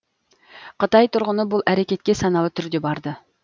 қытай тұрғыны бұл әрекетке саналы түрде барды